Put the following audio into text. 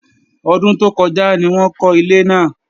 Ọdún tó kọjá ni wọ́n kọ́ ilé náà